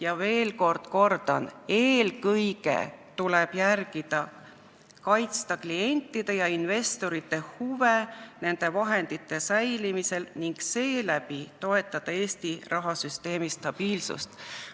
Ma veel kord kordan: eelkõige tuleb kaitsta klientide ja investorite huvi, et nende vahendid säiliksid, ning seeläbi toetada Eesti rahasüsteemi stabiilsust.